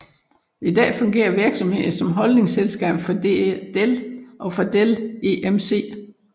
I dag fungerer virksomheden som holdingselskab for Dell og Dell EMC